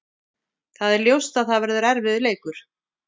Það er ljóst að það verður erfiður leikur.